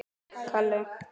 Þín dóttir Alda.